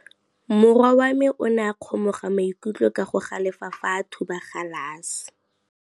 Morwa wa me o ne a kgomoga maikutlo ka go galefa fa a thuba galase.